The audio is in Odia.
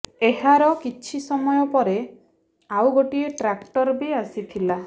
ଏହାର କିଛି ସମୟ ପରେ ଆଉ ଗୋଟିଏ ଟ୍ରାକ୍ଟର ବି ଆସିଥିଲା